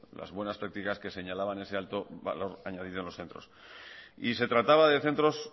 las buenas prácticas que señalaban ese alto valor añadido en los centros y se trataba de centros